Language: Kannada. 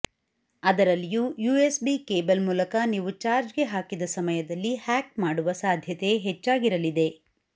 ಅದರಲ್ಲಿಯೂ ಯೂಎಸ್ಬಿ ಕೇಬಲ್ ಮೂಲಕ ನೀವು ಚಾರ್ಜ್ಗೆ ಹಾಕಿದ ಸಮಯದಲ್ಲಿ ಹ್ಯಾಕ್ ಮಾಡುವ ಸಾಧ್ಯತೆ ಹೆಚ್ಚಾಗಿರಲಿದೆ